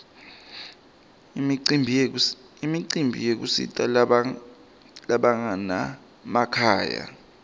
imicimbi yekusita labanganamakhaya